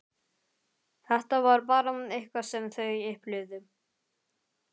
Þetta var bara eitthvað sem þau upplifðu.